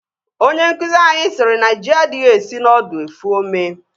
Onye nkụzi anyị siri na ji adịghị esi n'ọdụ efu ome